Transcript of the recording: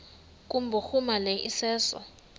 kubhuruma lo iseso